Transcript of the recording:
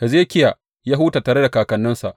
Hezekiya ya huta tare da kakanninsa.